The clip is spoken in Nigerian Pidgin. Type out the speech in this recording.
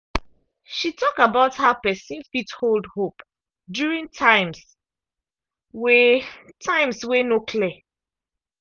she talk about how person fit hold hope during times wey times wey no clear.